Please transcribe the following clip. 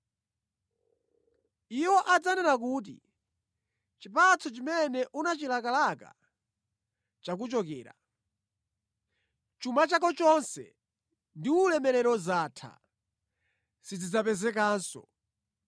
“Iwo adzanena kuti, ‘Chipatso chimene unachilakalaka chakuchokera. Chuma chako chonse ndi ulemerero zatha, sizidzapezekanso.’